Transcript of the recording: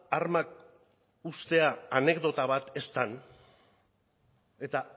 armak uztea anekdota bat ez den eta